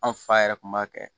An fa yɛrɛ kun b'a kɛ